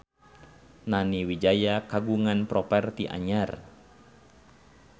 Nani Wijaya kagungan properti anyar